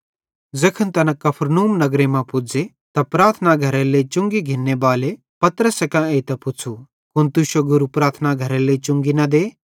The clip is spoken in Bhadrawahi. ज़ैखन तैना कफरनहूम नगर मां पुज़े त प्रार्थना घरेरे लेइ चुंगी घिन्ने बाले पतरसे कां एइतां पुच़्छ़ू कुन तुश्शो गुरू प्रार्थना घरेरी चुंगी न दे